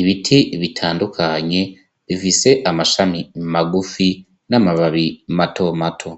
Ibiti bitandukanye bifise amashami magufi n'amababi mato mato.